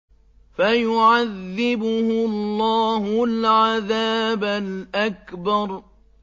فَيُعَذِّبُهُ اللَّهُ الْعَذَابَ الْأَكْبَرَ